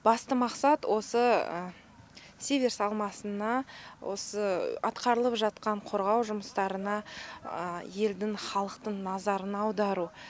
басты мақсат осы сиверс алмасына осы атқарылып жатқан қорғау жұмыстарына елдің халықтың назарын аудару